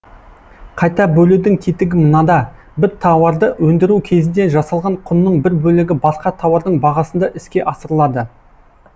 қайта бөлудің тетігі мынада бір тауарды өндіру кезінде жасалған құнның бір бөлігі басқа тауардың бағасында іске асырылады